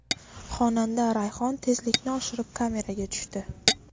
Xonanda Rayhon tezlikni oshirib, kameraga tushdi.